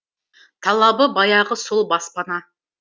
талабы баяғы сол баспана